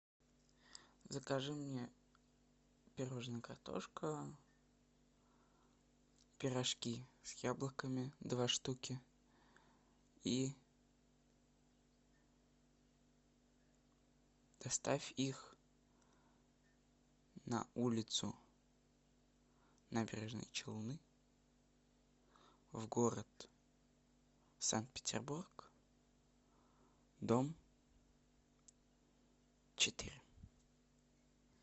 закажи мне пирожное картошка пирожки с яблоками два штуки и доставь их на улицу набережные челны в город санкт петербург дом четыре